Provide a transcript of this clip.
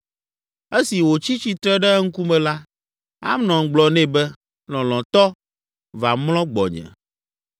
Esi wòtsi tsitre ɖe eŋkume la, Amnon gblɔ nɛ be, “Lɔlɔ̃tɔ, va mlɔ gbɔnye.”